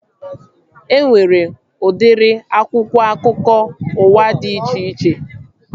E nwere udiri akwụkwọ akụkọ ụwa dị iche iche